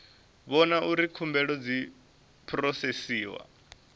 vhona uri khumbelo dzi phurosesiwa